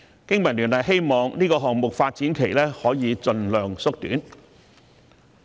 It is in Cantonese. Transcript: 經民聯希望這個項目的發展期可以盡量縮短。